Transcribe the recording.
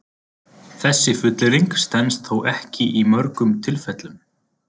Þessi fullyrðing stenst þó ekki í mörgum tilfellum.